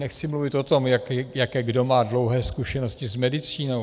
Nechci mluvit o tom, jaké kdo má dlouhé zkušenosti s medicínou.